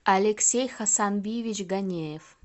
алексей хасанбиевич ганеев